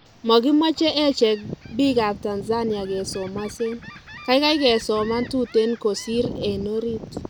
Makimache echek biik ab Tanzania kesomasen, kaikai kesoman tuten kosir en orit